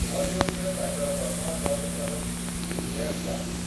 ବଲିଉଡରେ ତାଙ୍କର ପ୍ରଥମ ଚଳଚ୍ଚିତ୍ର ହେଉଛି 'ଲେଟସ୍ ଡାନ୍ସ '।